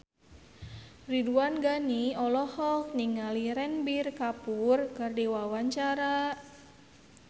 Ridwan Ghani olohok ningali Ranbir Kapoor keur diwawancara